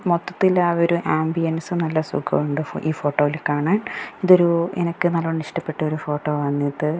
മൊത്തത്തിൽ ആ ഒരു ആംബിയെൻസ് നല്ല സുഖമുണ്ട് ഇ ഫ് ഈ ഫോട്ടോയിൽ കാണാൻ ഇതൊരു എനക്ക് നല്ലോണം ഇഷ്ടപ്പെട്ടൊരു ഫോട്ടോ ആണിത്.